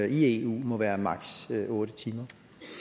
i eu må være maksimum otte timer